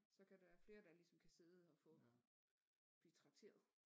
Så kan der være flere der ligesom kan sidde at få blive trakteret